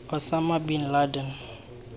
osama bin laden